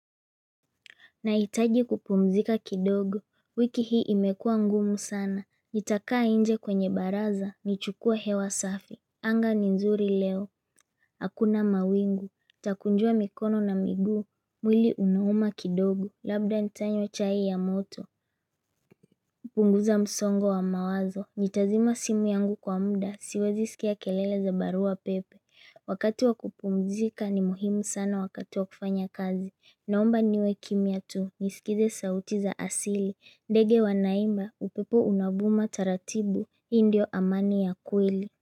Nahitaji kupumzika kidogo, wiki hii imekua ngumu sana, nitakaa nje kwenye baraza, nichukue hewa safi anga ni nzuri leo, hakuna mawingu, takunjua mikono na miguu, mwili unauma kidogo, labda nitanywa chai ya moto hupunguza msongo wa mawazo, nitazima simu yangu kwa muda, siwezi sikia kelele za barua pepe Wakati wakupumzika ni muhimu sana wakati wakufanya kazi naomba niwe kimia tu nisikize sauti za asili ndege wanaimba upepo unavuma taratibu hii ndio amani ya kweli.